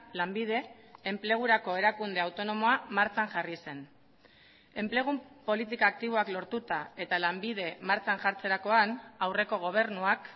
lanbide enplegurako erakunde autonomoa martxan jarri zen enplegu politika aktiboak lortuta eta lanbide martxan jartzerakoan aurreko gobernuak